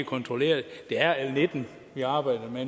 kontrolleret det er l nitten vi arbejder med